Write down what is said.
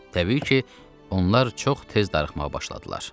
Təbii ki, onlar çox tez darıxmağa başladılar.